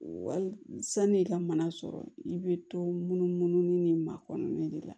Wali san'i ka mana sɔrɔ i bɛ to munumunu ni ma kɔnɔna de la